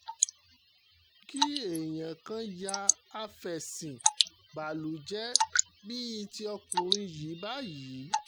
kí èèyàn kàn ya àfẹ̀sín-bàlújẹ́ bíi ti ọkùnrin yìí báyìí